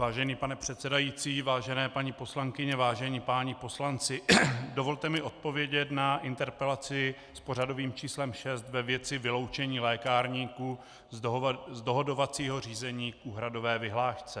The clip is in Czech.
Vážený pane předsedající, vážené paní poslankyně, vážení páni poslanci, dovolte mi odpovědět na interpelaci s pořadovým číslem šest ve věci vyloučení lékárníků z dohodovacího řízení k úhradové vyhlášce.